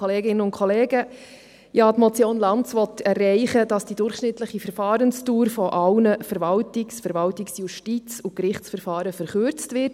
Die Motion Lanz will erreichen, dass die durchschnittliche Verfahrensdauer von allen Verwaltungs-, Verwaltungsjustiz- und Gerichtsverfahren verkürzt wird.